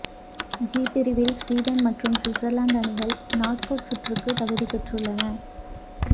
G பிரிவில் Sweden மற்றும் Switzerland அணிகள் நாக் அவுட் சுற்றுக்கு தகுதி பெற்றுள்ளன